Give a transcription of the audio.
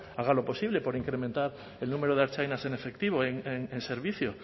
haga lo posible por incrementar el número de ertzainas en efectivo en servicio